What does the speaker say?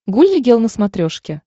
гулли гел на смотрешке